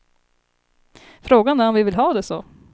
Frågan är om vi vill ha det så.